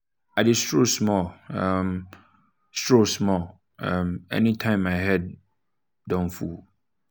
i dey stroll small um stroll small um anytime my head um don full.